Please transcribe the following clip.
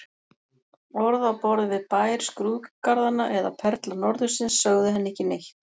Orð á borð við Bær skrúðgarðanna eða Perla norðursins sögðu henni ekki neitt.